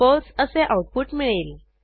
फळसे असे आऊटपुट मिळेल